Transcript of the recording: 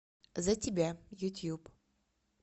за тебя ютюб